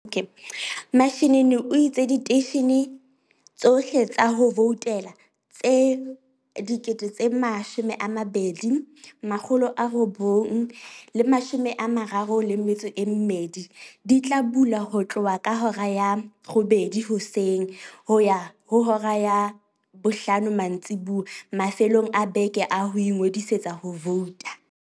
Mashinini o itse diteishe ne tsohle tsa ho voutela tse 22 932 di tla bula ho tloha ka hora ya 08:00 hoseng ho ya ho hora ya 17:00 mantsiboya mafelong a beke a ho ingodisetsa ho vouta.